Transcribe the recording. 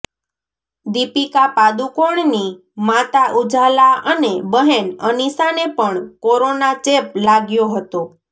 દીપિકા પાદુકોણની માતા ઉજાલા અને બહેન અનિષાને પણ કોરોના ચેપ લાગ્યો હતો